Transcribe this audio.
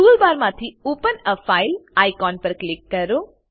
toolbar માંથી open a file icon પર click કરો